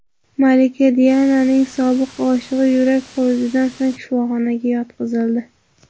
Malika Diananing sobiq oshig‘i yurak xurujidan so‘ng shifoxonaga yotqizildi.